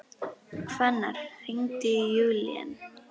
Hvannar, hringdu í Júlían.